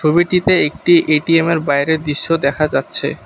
ছবিটিতে একটি এটিএমের বাইরের দৃশ্য দেখা যাচ্ছে।